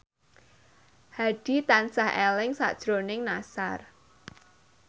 Hadi tansah eling sakjroning Nassar